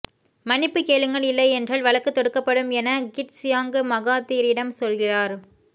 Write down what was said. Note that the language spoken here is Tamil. மன்னிப்புக் கேளுங்கள் இல்லை என்றால் வழக்கு தொடுக்கப்படும் என கிட் சியாங் மகாதீரிடம் சொல்கிறார்